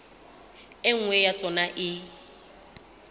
e nngwe ya tsona e